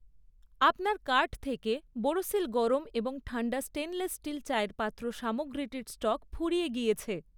আপনার কার্ট থেকে বোরোসিল গরম এবং ঠান্ডা স্টেইনলেস স্টিল চায়ের পাত্র সামগ্রীটির স্টক ফুরিয়ে গিয়েছে।